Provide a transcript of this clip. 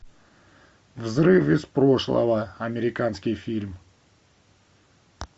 взрыв из прошлого американский фильм